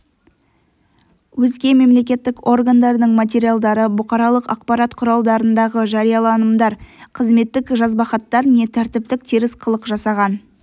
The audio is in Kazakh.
өзге мемлекеттік органдардың материалдары бұқаралық ақпарат құралдарындағы жарияланымдар қызметтік жазбахаттар не тәртіптік теріс қылық жасаған